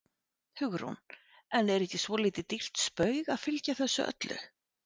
Hugrún: En er ekki svolítið dýrt spaug að fylgja þessu öllu?